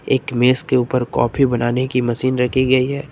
एक मेज के ऊपर कॉफी बनाने की मशीन रखी गई है।